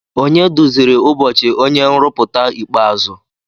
Onye duziri ụbọchị onye nrụpụta ikpeazụ?